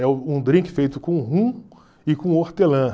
É um drink feito com rum e com hortelã.